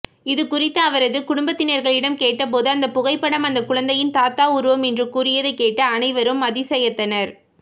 இதுகுறித்து அவரது குடும்பத்தினர்களிடம் கேட்டபோது அந்த புகைப்படம் அந்த குழந்தையின் தாத்தா உருவம் என்று கூறியதை கேட்டு அனைவரும் அதிசயத்தனர்